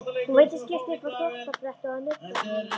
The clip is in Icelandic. Hún veiddi skyrtu upp á þvottabrettið og nuddaði hana.